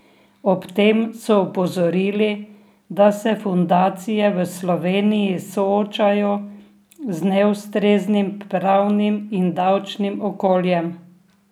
Ob tem so opozorili, da se fundacije v Sloveniji soočajo z neustreznim pravnim in davčnim okoljem.